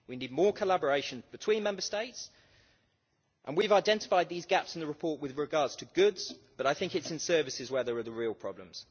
We need more collaboration between Member States and we've identified these gaps in the report with regard to goods, but I think it's in services where there are real problems.